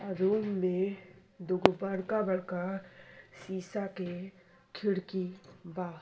आ रूम में दूगो बड़का-बड़का शीशा के खिड़की बा।